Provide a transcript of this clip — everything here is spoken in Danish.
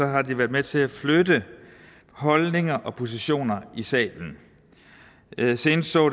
har de været med til at flytte holdninger og positioner i salen senest så